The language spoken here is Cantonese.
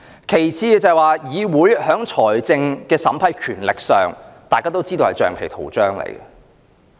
其次，大家都知道議會在財政審批權力上是橡皮圖章。